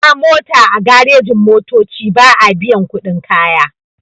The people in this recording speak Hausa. Hawa mota a garejin-motoci ba'a biyan kuɗin kaya.